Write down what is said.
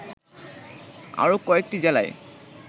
আরো কয়েকটি জেলায়